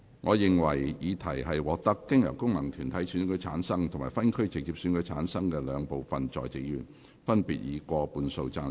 我認為議題獲得經由功能團體選舉產生及分區直接選舉產生的兩部分在席議員，分別以過半數贊成。